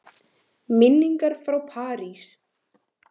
Minningar frá París?